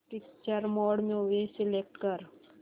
picture mode movie select कर